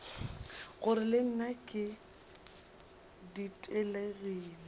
gore le nna ke ditelegile